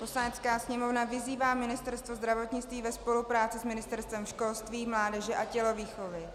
"Poslanecká sněmovna vyzývá Ministerstvo zdravotnictví ve spolupráci s Ministerstvem školství, mládeže a tělovýchovy